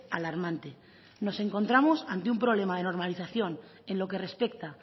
alarmante nos encontramos ante un problema de normalización en lo que respecta